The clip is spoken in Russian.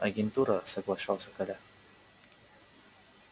агентура соглашался коля